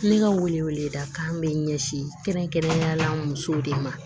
Ne ka wele wele da kan bɛ ɲɛsin kɛrɛnkɛrɛnnenyala musow de ma